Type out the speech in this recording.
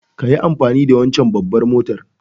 kayi amfani da wancen babbar motar.